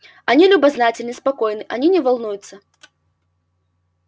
они любознательны спокойны они не волнуются